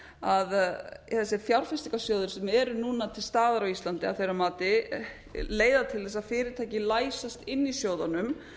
að þessir fjárfestingarsjóðir sem eru núna til staðar á íslandi að þeirra mati leiða til þess að fyrirtæki læstust inni í sjóðunum